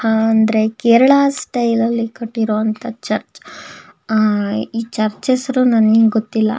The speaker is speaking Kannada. ಆಹ್ಹ್ ಅಂದ್ರೆ ಕೇರಳ ಸ್ಟೈಲ್ ಅಲ್ಲಿ ಕಟ್ಟಿರುವಂಥ ಚರ್ಚ್ ಅಹ್ ಈ ಚರ್ಚ್ ಹೆಸರು ನನಗೆ ಗೊತ್ತಿಲ್ಲ.